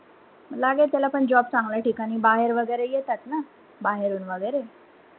लागेल त्याला पण job चांगल्या ठिकाणी बाहेर वगैरे येतात ना बाहेरून वगैरे,